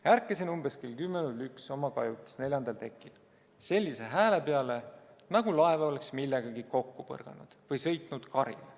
"Ärkasin umbes kell 1 oma kajutis neljandal tekil sellise hääle peale, nagu laev oleks millegagi kokku põrganud või sõitnud karile.